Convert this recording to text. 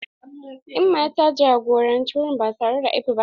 Emma ta jagoranci wurin ba tare da aibu ba.